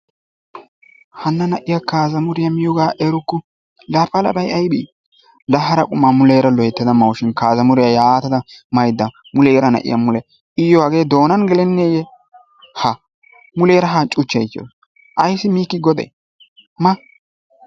Hana na'iyaa kazmuriyaa miyogaa erukku!l la palabay aybe la hara qumma muleraa loytada mawusushin, kazmuriyaa yatada mayda muleraa na'iyaa mule iyoo hagee mulee donani geleneyee, ha muleraa haa cuchawusu, ayssi mikki godee? maa.